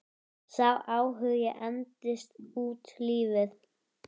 Króknum með ég torfi hleð.